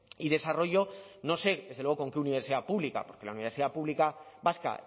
y desarrollo no sé desde luego con qué universidad pública porque la universidad pública vasca